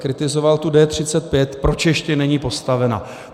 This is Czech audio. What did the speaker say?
Kritizoval D35, proč ještě není postavena.